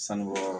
Sanu bɔyɔrɔ